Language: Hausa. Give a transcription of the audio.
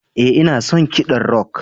Ee, ina son kiɗan rock.